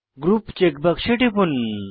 group check বাক্সে টিপুন